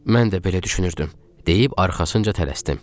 Mən də belə düşünürdüm, deyib arxasınca tələsdim.